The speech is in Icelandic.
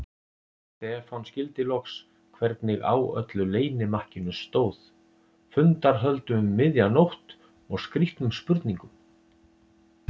Stefán skildi loks hvernig á öllu leynimakkinu stóð, fundarhöldum um miðja nótt og skrýtnum spurningum.